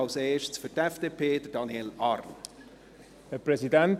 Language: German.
Als Erstes für die FDP, Daniel Arn.